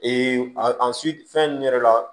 a fɛn ninnu yɛrɛ la